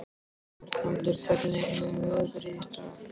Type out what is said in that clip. Arnaldur, hvernig er veðrið í dag?